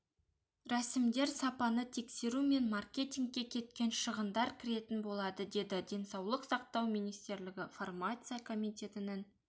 рәсімдер сапаны тексеру мен маркетингке кеткен шығындар кіретін болады деді денсаулық сақтау министрлігі фармация комитетінің